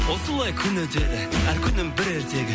осылай күн өтеді әр күнім бір ертегі